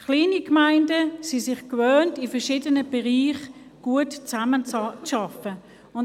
Kleine Gemeinden sind es sich gewohnt, in verschiedenen Bereichen gut zusammenzuarbeiten.